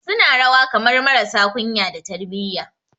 Suna rawa kamar marasa kunya da tarbiyya